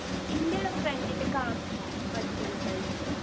എൻ്റെ friend ൻ്റെ കാക്കു പഠിച്ചിന് ട്ടോ അയില്